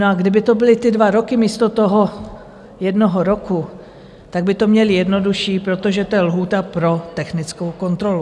No a kdyby to byly ty dva roky místo toho jednoho roku, tak by to měli jednodušší, protože to je lhůta pro technickou kontrolu.